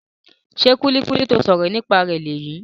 Ṣe kulikuli ti o sọrọ nípa rẹ leyii?